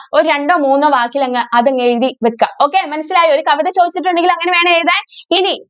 ഒരു രണ്ടോ മൂന്നോ വാക്കിലങ്ങ് അതങ്ങ് എഴുതി വയ്ക്ക. okay മനസ്സിലായോ? ഒരു കവിത ചോദിച്ചിട്ടുണ്ടെങ്കിൽ അങ്ങനെ വേണേ എഴുതാന്‍. ഇനി